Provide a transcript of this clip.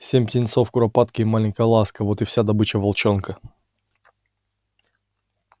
семь птенцов куропатки и маленькая ласка вот и вся добыча волчонка